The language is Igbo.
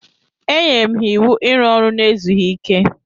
Enyere m ha iwu iru ọrụ n'ezughi ike.